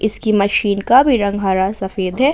इसकी मशीन का भी रंग हरा सफेद है।